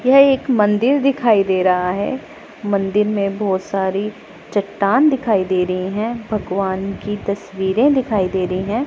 यह एक मंदिर दिखाई दे रहा है। मंदिर में बहोत सारी चट्टान दिखाई दे रही है। भगवान की तस्वीरे दिखाई दे रही है।